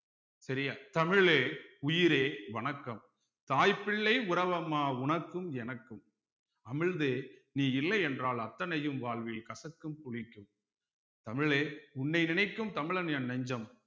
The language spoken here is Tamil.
சரியா தமிழே உயிரே வணக்கம் தாய் பிள்ளை உறவம்மா உனக்கும் எனக்கும் அமிழ்தே நீ இல்லையென்றால் அத்தனையும் வாழ்வில் கசக்கும் புளிக்கும் தமிழே உன்னை நினைக்கும் தமிழன் என் நெஞ்சம்